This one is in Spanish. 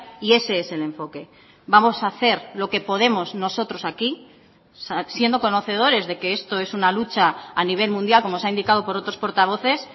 y ese es el enfoque vamos a hacer lo que podemos nosotros aquí siendo conocedores de que esto es una lucha a nivel mundial como se ha indicado por otros portavoces